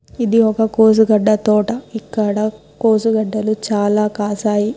ఇది ఒక కోసుగడ్డ తోట. ఇక్కడ కోసుగడ్డలు చాలా కాశాయి.